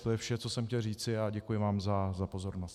To je vše, co jsem chtěl říci, a děkuji vám za pozornost.